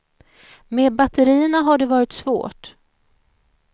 Med batterierna har det varit svårt.